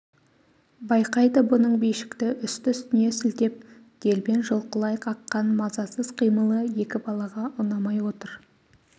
байқайды бұның бишікті үсті-үстіне сілтеп делбен жұлқылай қаққан мазасыз қимылы екі балаға ұнамай отыр